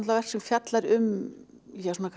verk sem fjallar um